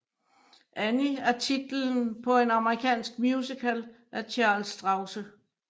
Annie er titlen på en amerikansk musical af Charles Strousse